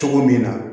Cogo min na